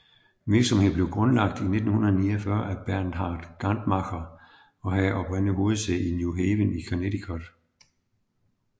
Virksomheden blev grundlagt i 1949 af Bernard Gantmacher og havde oprindeligt hovedsæde i New Haven i Connecticut